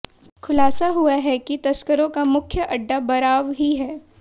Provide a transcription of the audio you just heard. खुलासा हुआ है कि तस्करों का मुख्य अड्डा बराव ही है